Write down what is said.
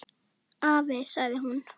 Afi, sagði hún.